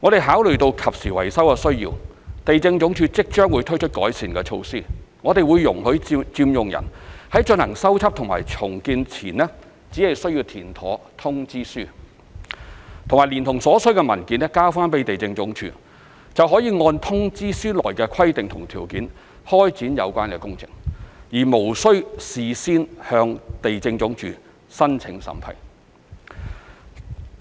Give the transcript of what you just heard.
考慮到進行及時維修的需要，地政總署即將推出改善措施，容許佔用人在進行修葺和重建前，只須填妥通知書和連同所需的文件交回地政總署，便可按通知書內的規定及條件開展有關的工程，而無須事先向地政總署申請審批。